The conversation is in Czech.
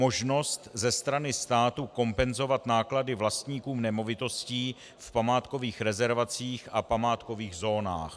Možnost ze strany státu kompenzovat náklady vlastníků nemovitostí v památkových rezervacích a památkových zónách.